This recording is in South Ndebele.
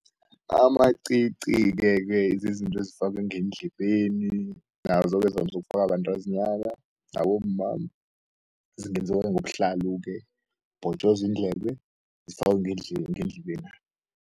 Amaqiqi-ke-ke zizinto ezifakwe ngeendlebeni nazo-ke zivamisu ukufakwa bantazinyana nabomma zingenziwa ngobuhlalalo-ke, bhotjozwi iindlebe zifakwe ngendlebena.